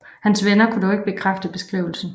Hans venner kunne dog ikke bekræfte beskrivelsen